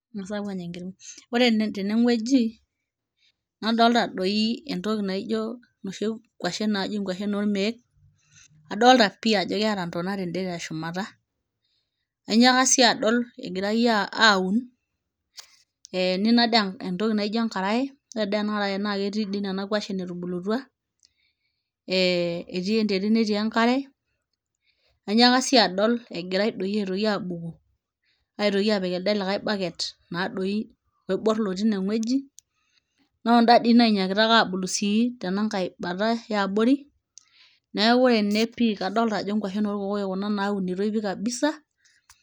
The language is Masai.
ng'as apuo anya enkirng'o ore teneng'ueji nadolta doi entoki naijo noshi kuashen naji inkuashen ormeek adolta pii ajo keeta ntona tende teshumata ainyiaka sii adol egirae a aun eh nina dee entoki naijo enkaraye ore dee ena araye naa ketii dii nena kuashen etubulutua eh etii enterit netii enkare ainyiaka sii adol egirae doi aitoki abuku aitoki apik elde likae bucket naa doi oiborr lotii ineng'ueji noonda dii nainyikita ake abulu sii tenankae bata eabori neeku ore ene pii kadolta ajo nkuashen orkokoyok kuna naunitoi pii kabisa.